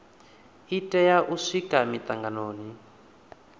i tea u swika mitanganoni